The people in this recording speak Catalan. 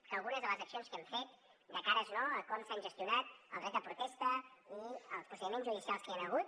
que algunes de les accions que hem fet de cara a com s’han gestionat el dret de protesta i els procediments judicials que hi han hagut